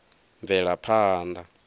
bvelaphanḓa